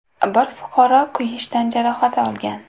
Bir fuqaro kuyish tan jarohati olgan.